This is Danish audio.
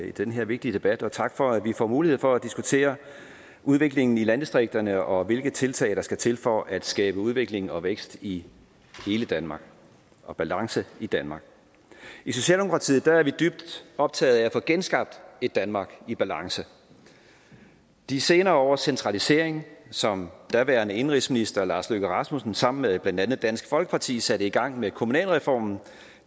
i den her vigtige debat og tak for at vi får mulighed for at diskutere udviklingen i landdistrikterne og hvilke tiltag der skal til for at skabe udvikling og vækst i hele danmark og balance i danmark i socialdemokratiet er vi dybt optaget af at få genskabt et danmark i balance de senere års centralisering som daværende indenrigsminister lars løkke rasmussen sammen med blandt andet dansk folkeparti satte i gang med kommunalreformen